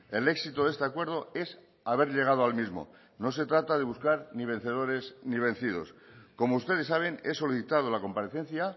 el éxito de este acuerdo es haber llegado al mismo no se trata de buscar ni vencedores ni vencidos como ustedes saben he solicitado la comparecencia